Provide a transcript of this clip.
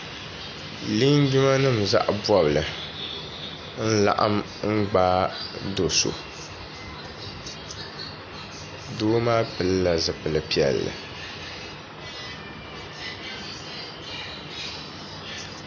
Linjima nim zaɣi bɔbili. n laɣim n gbaa do' so. doo maa pilila zipili piɛli.